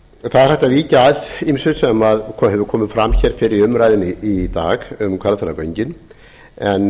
að víkja að ýmsu sem hefur komið fram fyrr í umræðunni í dag um hvalfjarðargöngin en